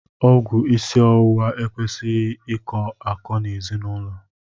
Ọgwụ isi ọwụwa ekwesịghị ị kọ akọ n'ezinaụlọ.